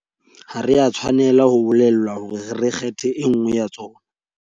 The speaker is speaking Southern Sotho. Ha re a tshwanela ho bolellwa hore re kgethe e nngwe ya tsona.